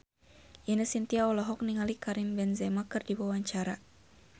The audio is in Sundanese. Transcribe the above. Ine Shintya olohok ningali Karim Benzema keur diwawancara